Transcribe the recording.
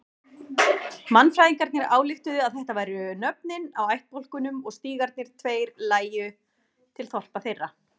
Mannfræðingarnir ályktuðu að þetta væru nöfnin á ættbálkunum og stígarnir tveir lægju til þorpa þeirra.